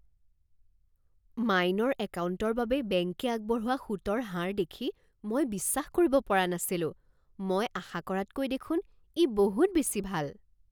Minor একাউণ্টৰ বাবে বেংকে আগবঢ়োৱা সুতৰ হাৰ দেখি মই বিশ্বাস কৰিব পৰা নাছিলোঁ! মই আশা কৰাতকৈ দেখোন ই বহুত বেছি ভাল।